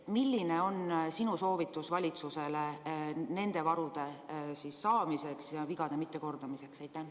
Milline on sinu soovitus valitsusele nende varude saamiseks ja vigade mittekordamiseks?